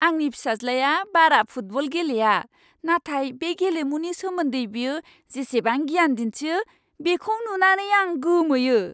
आंनि फिसाज्लाया बारा फुटबल गेलेया, नाथाय बे गेलेमुनि सोमोन्दै बियो जिसिबां गियान दिन्थियो, बेखौ नुनानै आं गोमोयो!